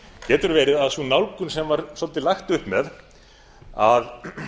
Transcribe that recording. getur verið að sú nálgun sem var svolítið lagt upp með að